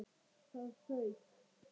ÞAÐ FAUK!